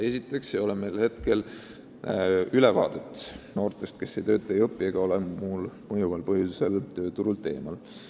Esiteks ei ole meil praegu ülevaadet noortest, kes ei tööta ega ei õpi ega ole muul mõjuval põhjusel tööturult eemal.